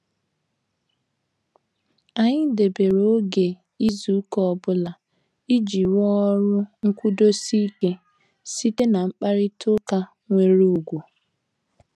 Anyị debere oge n'izu ụka ọbụla, iji rụọ ọrụ nkwudosi ike site na mkparita ụka nwere ugwu.